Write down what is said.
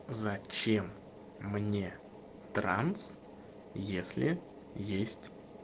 зачем мне транс если есть